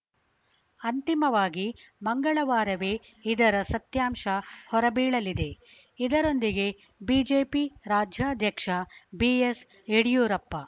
ಅಂತಿಮವಾಗಿ ಮಂಗಳವಾರವೇ ಇದರ ಸತ್ಯಾಂಶ ಹೊರಬೀಳಲಿದೆ ಇದರೊಂದಿಗೆ ಬಿಜೆಪಿ ರಾಜ್ಯಾಧ್ಯಕ್ಷ ಬಿಎಸ್‌ಯಡಿಯೂರಪ್ಪ